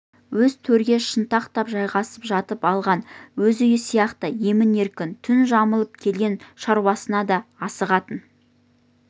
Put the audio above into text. өзі төрге шынтақтап жайғасып жатып алған өз үйі сияқты емін-еркін түн жамылып келген шаруасына да асығатын